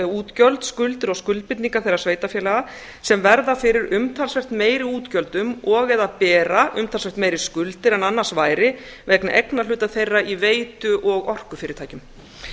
útgjöld skuldir og skuldbindingar þeirra sveitarfélaga sem verða fyrir umtalsvert meiri útgjöldum og eða bera umtalsvert meiri skuldir en annars væri vegna eignarhluta þeirra í veitu og orkufyrirtækjum